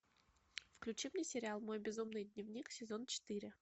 включи мне сериал мой безумный дневник сезон четыре